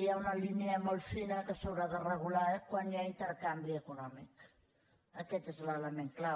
hi ha una línia molt fina que s’haurà de regular quan hi ha intercanvi econòmic aquest és l’element clau